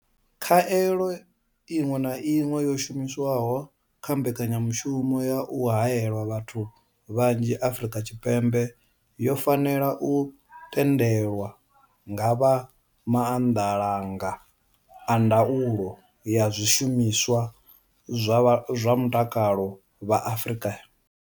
Khaelo iṅwe na iṅwe yo shumiswaho kha mbekanyamushumo ya u haela vhathu vhanzhi Afrika Tshipembe yo fanela u tendelwa nga vha Maanḓalanga a ndaulo ya zwishumiswa zwa Mutakalo vha Afrika.